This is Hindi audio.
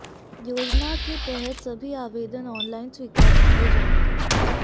योजना के तहत सभी आवेदन ऑनलाइन स्वीकार किए जाएंगे